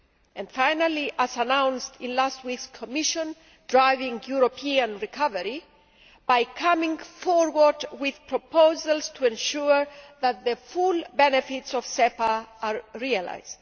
And finally, as announced in last week's Commission proposal Driving European Recovery', by coming forward with proposals to ensure that the full benefits of SEPA are realised.